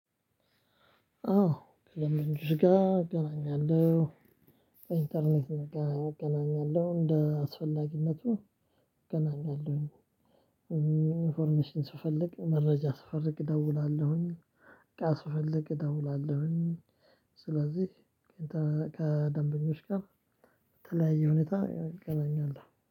አዎ ከደንበኞች ጋር እገናኛለሁ በኢንተርኔት እገናኛለሁ እንደ አስፈላጊነቱ እገናኛለሁ። ኢንፎርሜሽን ስፈልግ መረጃ ስፈልግ እደውላለሁኝ። እቃ ስፈልግ እደውላለሁኝ። ስለዚህ ከደንበኞች ጋር በተለያየ ሁኔታ እገናኛለሁ